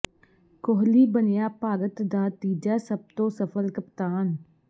ਕੋਹਲੀ ਬਣਿਆ ਭਾਰਤ ਦਾ ਤੀਜਾ ਸਭ ਤੋਂ ਸਫਲ ਕਪਤਾਨ